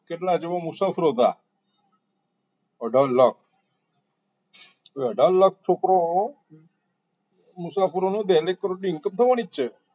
કેટલા ક જેવા મુસાફરો હતા અઢાર લાખ અઢાર લાખ છોકરો મુસાફરોનું daily કરોડો ની income થવાની જ છે